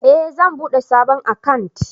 Eh zan bude sabon akant